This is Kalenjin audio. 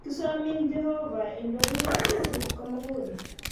Kisomin Jehovah indoiwech betut komugul